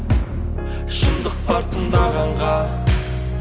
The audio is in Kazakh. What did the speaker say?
шындық бар тыңдағанға